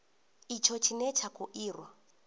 itsho tshine tsha kho irwa